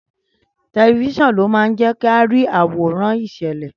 Tẹlifiṣionu máa jẹ ki a rí àwòrán ìṣẹ̀lẹ̀.